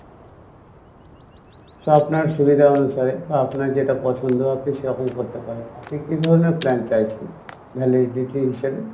so আপনার সুবিধা অনুসারে বা আপনার যেটা পছন্দ আপনি সেরকম করতে পারেন আপনি কী ধরনের plan চাইছেন, validity হিসেবে?